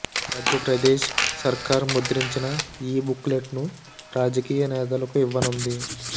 మధ్యప్రదేశ్ సర్కార్ ముద్రించిన ఈ బుక్ లెట్ ను రాజకీయ నేతలకు ఇవ్వనుంది